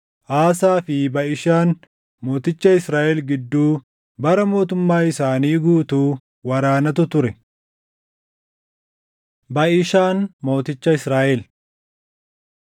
Aasaa fi Baʼishaan mooticha Israaʼel gidduu bara mootummaa isaanii guutuu waraanatu ture. Baʼishaan Mooticha Israaʼel